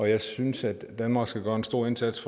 jeg synes at danmark skal gøre en stor indsats